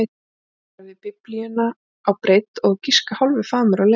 Hún var á við Biblíuna á breidd og á að giska hálfur faðmur á lengd.